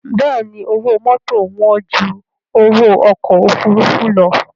Bẹ́ẹ̀ni owó mọ́tò wán ju owó ọkọ̀ òfuurufú lọ